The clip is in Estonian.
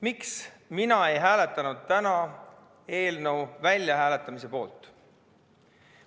Miks mina ei hääletanud täna eelnõu väljahääletamise poolt?